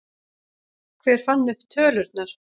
Hver fann upp tölurnar?